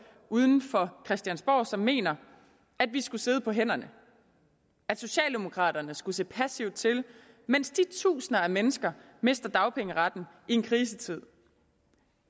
uden for christiansborg som mener at vi skulle sidde på hænderne at socialdemokraterne skulle se passivt til mens disse tusinder af mennesker mister dagpengeretten i en krisetid